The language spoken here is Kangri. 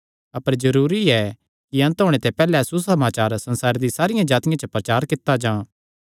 अपर जरूरी ऐ कि अन्त ओणे ते पैहल्ले सुसमाचार सारियां जातिआं च प्रचार कित्ता जां